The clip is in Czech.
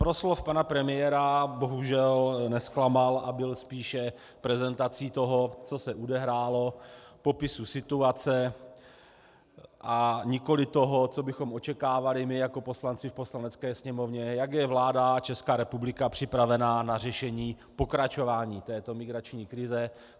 Proslov pana premiéra bohužel nezklamal a byl spíše prezentací toho, co se odehrálo, popisu situace, a nikoli toho, co bychom očekávali my jako poslanci v Poslanecké sněmovně - jak je vláda a Česká republika připravena na řešení pokračování této migrační krize.